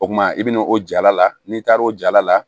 O kuma i bɛna o jala la n'i taara o jala la